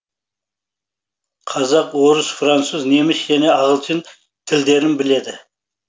қазақ орыс француз неміс және ағылшын тілдерін біледі